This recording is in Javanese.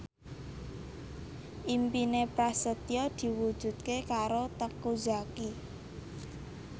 impine Prasetyo diwujudke karo Teuku Zacky